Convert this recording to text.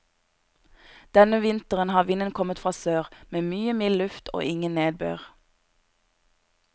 Denne vinteren har vinden kommet fra sør, med mye mild luft og ingen nedbør.